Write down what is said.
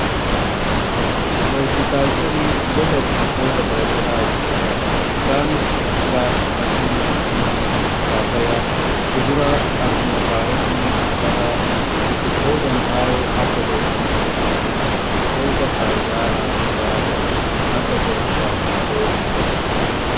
phooltikaalcharii gosa biqiltoota garagaraa of keessaa qabu isaanis mudura fakkeenyaf muzii paappayaa kuduraa akkuma kaaroti atara biqiltoota midhaawo akka zayitii bunaa fi biqiltoota faayidaa adda addaa qaban akka qorichaa fi foolii dabalata.